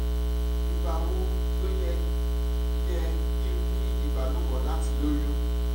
ìgbà wo ló yẹ yẹ kí n ní ìbálòpọ̀ láti lóyún?